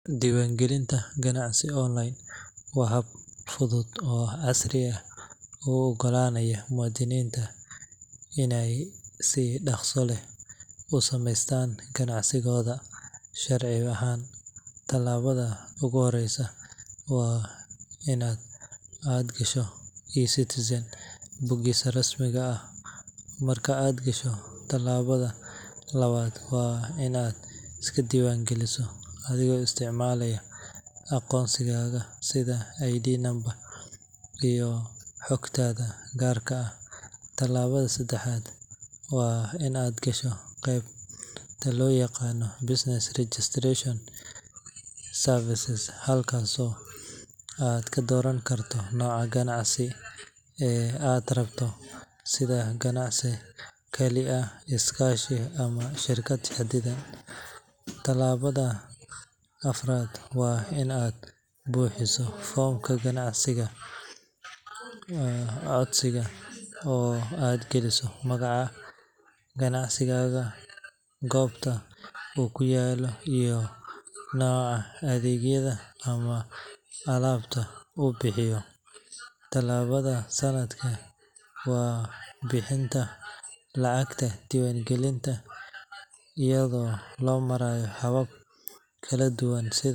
Diiwan galinta ganacsi online waxaa fudhud oo casri ah uogalaanaya muadiniinta in ey si daqsi leh usameystaan ganacsigoodha sharci ahaan. Talaabadha uguhoreysa waa inaad gasho e- citizens bogisa rasmiga ah. Marka aad gasho laabadha labaad waa inaad iskadiwaangaliso adhiga isticmalaya aqoonsigaga sidha id number iyo xogtadha gaarka ah. Talaabadha sedaxad waa inaad gasho qebta looyaqana business registration services halkas oo kadooran karto noca ganacsiga ee aad rabto sidha ganacsi Kali aha iskaashi ama shirkad xidade. Tilaabadha afaraad waa inaad buuxiso fomka ganacsiga codsiga oo aad galiso magaca ganacsigaaga, goobta uu kuyaalo iyo noca adhegyadha ama alabta uu bixiyo. Talaabadha shanad waa bixinta lacagta diwaangalinta iyadha oo loomarayo habab kaladuwan.